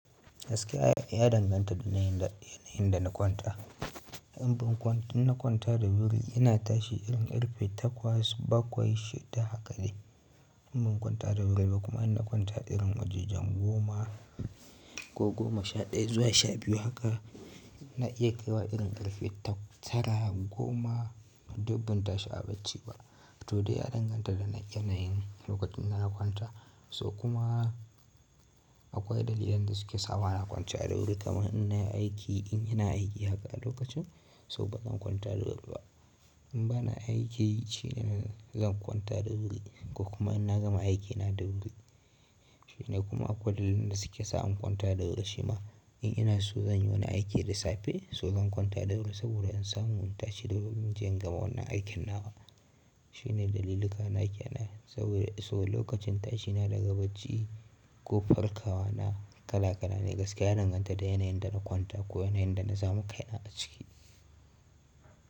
Gaskiya ya danganta da yanayin da na kwanta. In ban in na kwanta da wuri ina tashi irin ƙarfe takwas baƙwai shida haka ne. In ban kwanta da wuri ba kuma ina kwanta irin wajajen goma ko goma sha ɗaya zuwa sha biyu haka na iya kaiwa irin ƙarfe tara goma, duk ban tashi a bacci ba. To dai ya danganta da yanayin lokacin da na kwanta so kuma akwai dalilan da suke sa bana kwanta da wuri kamar in nayi aiki in ina aiki haka a lokacin so bazan kwanta da wuri ba. In bana aiki shine zan kwanta da wuri ko kuma ina gama aikina da wuri. Shine kuma akwai dalilan da suke sa in kwanta da wuri shima in ina so zan yi wani aiki da safe so zan kwanta da wuri saboda in samu in tashi da wuri inje in gama wannan aikin na wa. Shine daliluka na kenan saboda so lokacin tashi na daga bacci ko farkawa na kala kala ne gaskiya ya danganta da yanayin da na kwanta ko yanayin da na samu kai na a ciki.